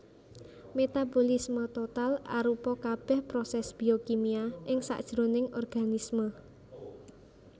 Metabolisme total arupa kabèh prosès biokimia ing sajroning organisme